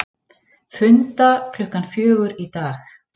Funda klukkan fjögur í dag